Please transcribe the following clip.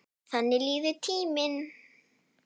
Þannig líður tíminn.